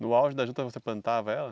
No auge da juta você plantava ela?